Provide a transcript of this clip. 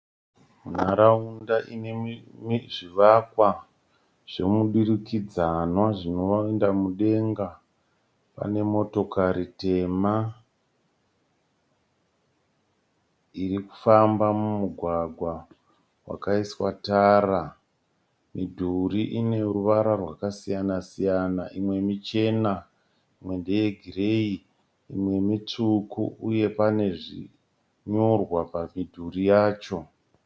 Nharaunda ine zvivakwa zvemudurikidzwana zvinoenda mudenga. Pane motokari tema iri kufamba mumugwagwa wakaiswa tara. Midhuri ine ruvara rwakasiyana siyana, imwe michena imwe ndeyegireyi imwe mitsvuku uye pane zvinyorwa pamidhuri yacho,